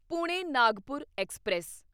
Pune Nagpur express